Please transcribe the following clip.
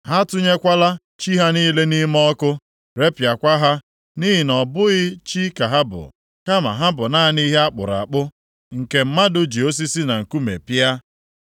ha atụnyekwala chi ha niile nʼime ọkụ, repịakwa ha, nʼihi na ọ bụghị chi ka ha bụ, kama ha bụ naanị ihe a kpụrụ akpụ, nke mmadụ ji osisi na nkume pịa.